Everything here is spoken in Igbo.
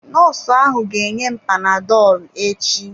Nọọsụ ahụ ga-enye m panadọlụ echi.